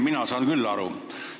Mina saan küll aru.